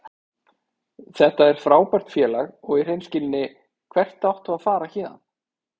Þetta er frábært félag og í hreinskilni, hvert áttu að fara héðan?